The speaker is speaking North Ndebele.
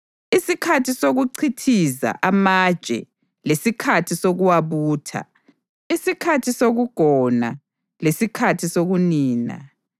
isikhathi sokuchithiza amatshe lesikhathi sokuwabutha, isikhathi sokugona lesikhathi sokunina,